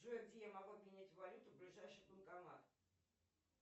джой где я могу поменять валюту ближайший банкомат